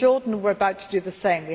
In Jordan we are about to do the same.